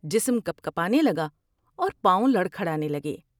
جسم کپکپانے لگا اور پاؤں لڑکھڑانے لگے ۔